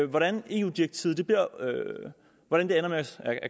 hvordan eu direktivet ender med at